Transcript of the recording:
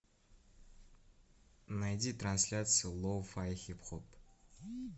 найди трансляцию лоу фай хип хоп